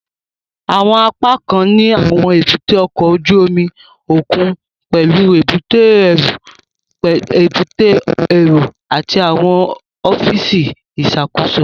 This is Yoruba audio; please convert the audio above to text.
Àwọn apákan ní àwọn èbúté ọkọ̀ ojú omi òkun pẹlú èbúté ẹrú, èbúté èrò àti àwọn ọfíìsì ìṣàkóso